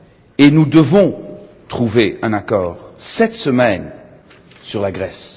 Et nous devons trouver un accord, cette semaine, sur la Grèce.